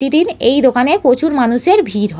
প্রতিদিন এই দোকানে প্রচুর মানুষের ভিড় হয় ।